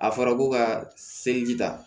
A fɔra ko ka seliji ta